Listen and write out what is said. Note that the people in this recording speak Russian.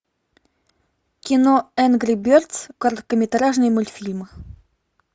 кино энгри бердс короткометражные мультфильмы